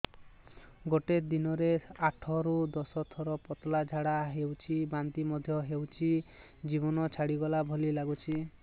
ଗୋଟେ ଦିନରେ ଆଠ ରୁ ଦଶ ଥର ପତଳା ଝାଡା ହେଉଛି ବାନ୍ତି ମଧ୍ୟ ହେଉଛି ଜୀବନ ଛାଡିଗଲା ଭଳି ଲଗୁଛି